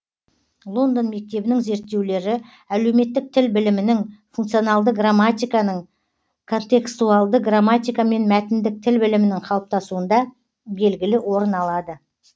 лондон мектебінің зерттеулері әлеуметтік тіл білімінің функционалды грамматиканың контекстуалды грамматика мен мәтіндік тіл білімінің қалыптасуында белгілі орын алады